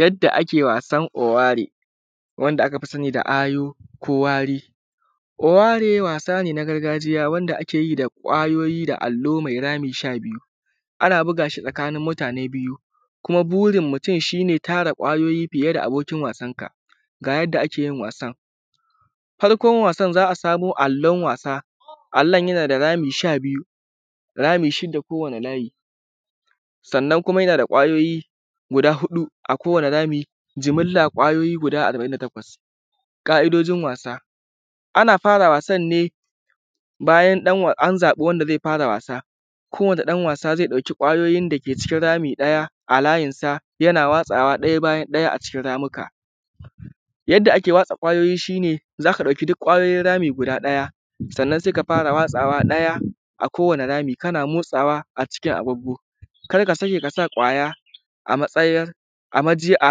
Yadda ake wasan oware wanda aka fi sani da ayu ko wari, oware wasa ne na gargajiya wanda ake yi da ƙwayoyi da allo mai rami sha biyu ana buga shi tsakanin mutane biyu, kuma burin mutum shi ne tara ƙwayoyi fiye da abokin wasan ka, ga yadda ake yin wasan, farkon wasan za a samo allon wasa, allon yana da rami sha biyu, rami shida kowane layi, sannan kuma yana da ƙwayoyi guda huɗu a kowane rami jimmila ƙwayoyi guda arba`in da takwas, ƙa`idojin wasa, ana fara wasan ne bayan ɗan an zaɓi wanda zai fara wasa kowane ɗan wasa zai ɗauki ƙwayoyi dake cikin rami ɗaya a layin sa yana watsawa ɗaya bayan ɗaya cikin ramika, yadda ake watsa ƙwayoyi shi ne zaka ɗauki duk ƙwayoyin rami guda ɗaya sannan sai ka fara watsawa ɗaya a kowane rami kana motsawa a cikin agugu kar ka sake kasa ƙwaya a matsayar a maji a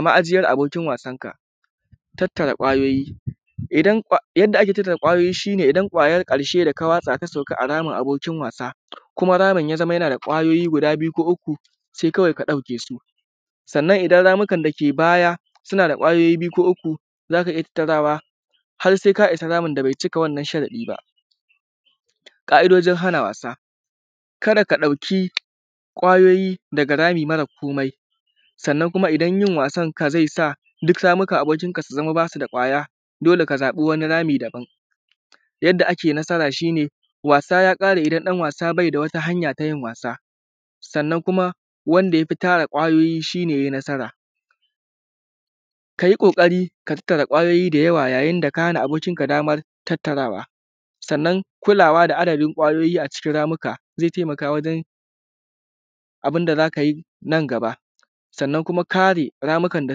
majiyar abokin wasan ka, tattara ƙwayoyi, idan yadda ake tattara ƙwayoyi shi ne idan ƙwayar ƙarshe da ka wasa ta sauka a ramin abokin wasa kuma ramin ya zama yana da ƙwayoyi guda biyu ko uku sai kawai ka ɗauke su, sannan idan ramukan dake baya suna da ƙwayoyi biyu ko uku zaka iya tattarawa har sai ka issa ramin da bai cika sharaɗi ba, ƙa`idojin hana wasa, kada ka ɗauki ƙwayoyi daga rami marar komai sannan kuma idan yin wasan zai sa duk ramukan abokin ka su zama basu da ƙwaya dole ka zaɓi wani rami daban, yadda ake nasara shi ne wasa ya ƙare idan ɗan wasa bai da wata hanya ta yin wasa, sannan kuma wanda yafi tara ƙwayoyi shi ne yai nasara, kayi ƙoƙari ka tattara ƙwayoyi da yawa yayin da ka hana abokin ka damar tattarawa, sannan kulawa da adadin ƙwayoyi a cikin ramuka zai taimaka wajen abinda zaka yi nan gaba sannan kuma kare ramukan da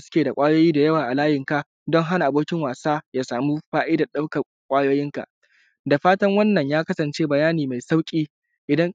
suke da ƙwayoyi da yawa a layin ka don hana abokin wasa ya samu fa`idan ɗaukan ƙwayoyin ka, da fatan wannan ya kasance bayani mai sauƙi idan.